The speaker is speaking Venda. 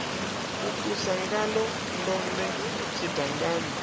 a ṱusa ngaḽo ndode tshidangani